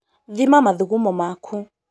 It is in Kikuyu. thima mathugumo maku